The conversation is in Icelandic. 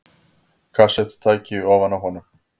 Kassettutæki ofan á honum.